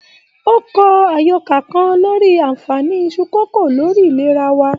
O kọ àyọkà kàn lórí aanfani Isu kókó lórí ìlera wa.